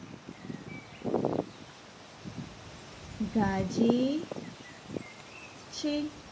ગાજે છે